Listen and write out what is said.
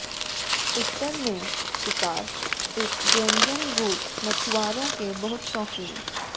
उत्तर में शिकार इस व्यंजन रूस मछुआरों के बहुत शौकीन